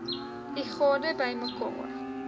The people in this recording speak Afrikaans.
u gade bymekaar